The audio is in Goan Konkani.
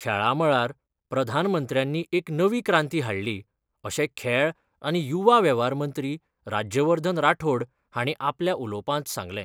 खेळा मळार प्रधानमंत्र्यानी एक नवी क्रांती हाडली अशें खेळ आनी युवा वेव्हार मंत्री राज्यवर्धन राठोड हांणी आपल्या उलोवपांत सांगलें.